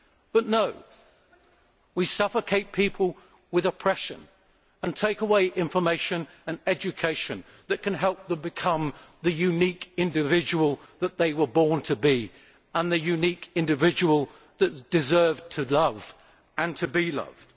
But no, we suffocate people with oppression and take away information and education that can help them become the unique individual that they were born to be and the unique individual that deserves to love and to be loved.